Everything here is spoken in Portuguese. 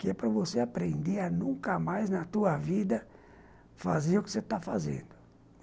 que é para você aprender a nunca mais na tua vida fazer o que você está fazendo.